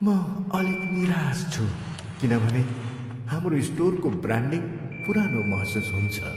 म अलिक निराश छु किनभने हाम्रो स्टोरको ब्रान्डिङ पुरानो महसुस हुन्छ।